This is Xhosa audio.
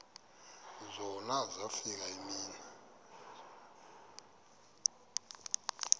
zona zafika iimini